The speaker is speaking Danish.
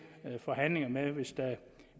forhandlingerne med hvis